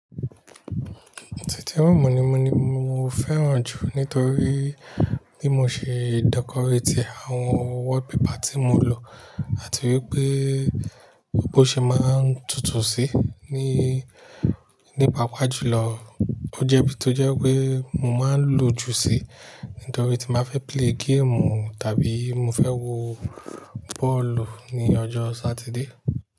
Sitting room ni mo ni mo fẹ́ràn jù nítorí bí mo ṣe decorate e àwọn wallpaper tí mo lò àti wípé bó ṣe máa ń tutù sí, ní, nípaa pa jùlọ. Ó jẹ́ bí tó jẹ́ wipé mo máa lò ju sí nítorí tí n bá fẹ́ play geemu tàbí mo fẹ́ wo bọ́ọ̀lù ní ọjọ́ Satide.